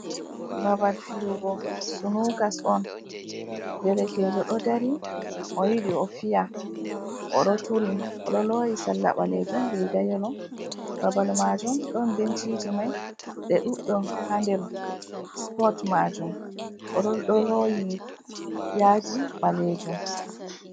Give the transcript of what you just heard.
Babal fiyugo sunukas on, derkejo do dari oyidi o fiya, oɗo turi oɗo loyi salla balejum riga yelo, babal majum ɗon benciji mai ɓe ɗuddum haa der supot majum odo doloyi yadi balejum.